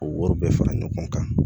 O wariw bɛɛ fara ɲɔgɔn kan